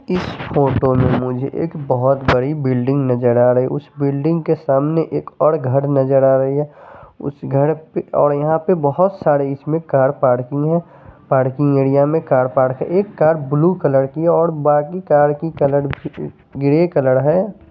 इस फोटो में मुझे एक बहोत बड़ी बिल्डिंग नजर आ रही उसे बिल्डिंग के सामने एक और घर नजर आ रही है उसे घर पे और यहां पर बहोत सारे इसमें कार पार्किंग है पार्किंग एरिया में कार पार्क है एक कार ब्लू कलर की और बाकी कार की कलर ग्रे कलर है।